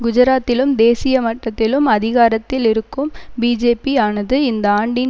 குஜராத்திலும் தேசிய மட்டத்திலும் அதிகாரத்தில் இருக்கும் பிஜேபி ஆனது இந்த ஆண்டின்